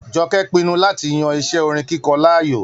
Jọkẹ́ pinnu láti yan iṣẹ́ orin kíkọ láàyò.